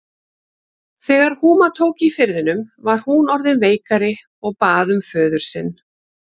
Þegar húma tók í firðinum var hún orðin veikari og bað um föður sinn.